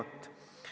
Hea ettekandja!